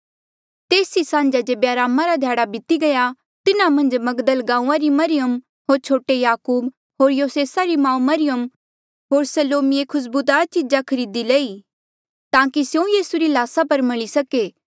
तेस ई सान्झा जेबे अरामा रा ध्याड़ा बीती गया तिन्हा मन्झ मगदल गांऊँआं री मरियम होर छोटे याकूब होर योसेसा री माऊ मरियम होर सलोमिए खुस्बुदार चीजा खरीदी लई ताकि स्यों यीसू री ल्हासा पर मली सके